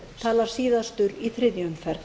talar síðastur í þriðju umferð